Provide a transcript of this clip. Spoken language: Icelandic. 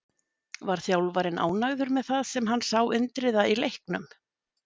Var þjálfarinn ánægður með það sem hann sá Indriða í leiknum?